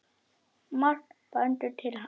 Margt bendir til annars.